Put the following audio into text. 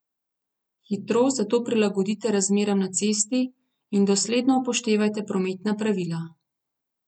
Hitrost zato prilagodite razmeram na cesti in dosledno upoštevajte prometna pravila.